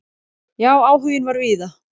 Já, áhuginn var víða.